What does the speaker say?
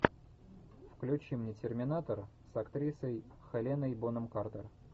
включи мне терминатор с актрисой хеленой бонем картер